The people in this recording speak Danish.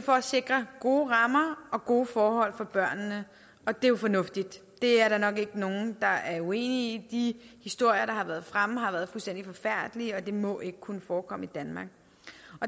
for at sikre gode rammer og gode forhold for børnene det er jo fornuftigt det er der nok ikke nogen der er uenig i de historier der har været fremme har været fuldstændig forfærdelige og det må ikke kunne forekomme i danmark